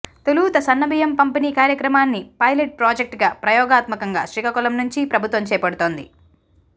తొలుత సన్నబియ్యం పంపిణీ కార్యక్రమాన్ని పైలెట్ ప్రాజెక్టుగా ప్రయోగాత్మకంగా శ్రీకాకుళం నుంచి ప్రభుత్వం చేపడుతోంది